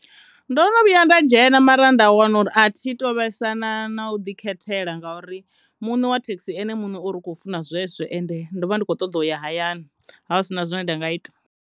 Ndo no vhuya nda dzhena mara nda wana uri athi to vhesa na u ḓi khethela ngauri mune wa thekhisi uri ene u khou funa zwezwo ende ndo vha ndi kho ṱoḓa u ya hayani ha hu sina zwine nda nga ita.